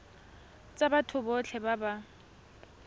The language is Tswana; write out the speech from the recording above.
tsa batho botlhe ba ba